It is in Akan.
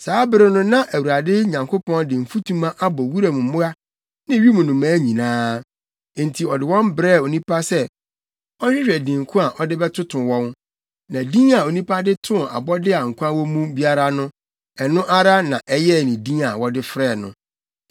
Saa bere no na Awurade Nyankopɔn de mfutuma abɔ wuram mmoa ne wim nnomaa nyinaa. Enti, ɔde wɔn brɛɛ onipa sɛ ɔnhwehwɛ din ko a ɔde bɛtoto wɔn; na din a onipa de too abɔde a nkwa wɔ mu biara no, ɛno ara na ɛyɛɛ din a wɔde frɛɛ no.